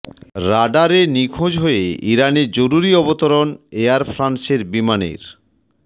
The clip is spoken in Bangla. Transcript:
রাডারে নিখোঁজ হয়ে ইরানে জরুরি অবতরণ এয়ার ফ্রান্সের বিমানের